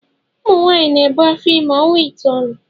Ụmụnwaanyị na-ebu afọ ime ọnwa itoolu